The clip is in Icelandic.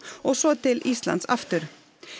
og svo til Íslands aftur